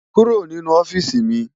Kúró ninú òfisi mi